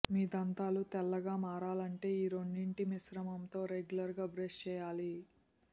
మీ దంతాలు తెల్లగా మారాలంటే ఈ రెండింటి మిశ్రమంతో రెగ్యులర్ గా బ్రష్ చేయాలి